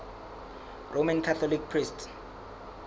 roman catholic priests